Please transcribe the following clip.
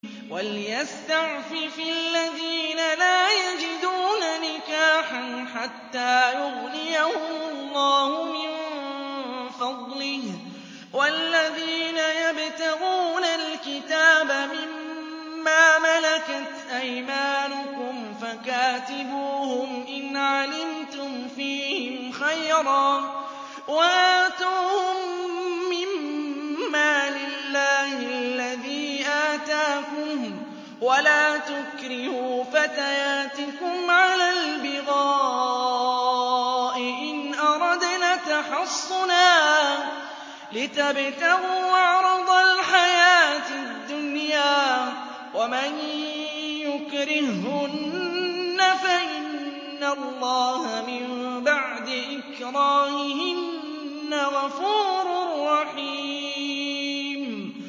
وَلْيَسْتَعْفِفِ الَّذِينَ لَا يَجِدُونَ نِكَاحًا حَتَّىٰ يُغْنِيَهُمُ اللَّهُ مِن فَضْلِهِ ۗ وَالَّذِينَ يَبْتَغُونَ الْكِتَابَ مِمَّا مَلَكَتْ أَيْمَانُكُمْ فَكَاتِبُوهُمْ إِنْ عَلِمْتُمْ فِيهِمْ خَيْرًا ۖ وَآتُوهُم مِّن مَّالِ اللَّهِ الَّذِي آتَاكُمْ ۚ وَلَا تُكْرِهُوا فَتَيَاتِكُمْ عَلَى الْبِغَاءِ إِنْ أَرَدْنَ تَحَصُّنًا لِّتَبْتَغُوا عَرَضَ الْحَيَاةِ الدُّنْيَا ۚ وَمَن يُكْرِههُّنَّ فَإِنَّ اللَّهَ مِن بَعْدِ إِكْرَاهِهِنَّ غَفُورٌ رَّحِيمٌ